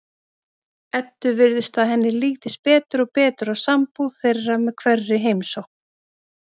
Eddu virðist að henni lítist betur og betur á sambúð þeirra með hverri heimsókn.